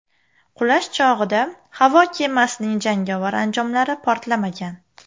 Qulash chog‘ida havo kemasining jangovar anjomlari portlamagan.